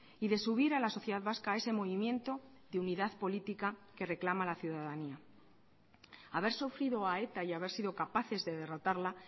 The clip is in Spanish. y de subir a la sociedad vasca a ese movimiento de unidad política que reclama la ciudadanía haber sufrido a eta y haber sido capaces de derrotarla